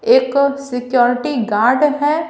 एक security guard है।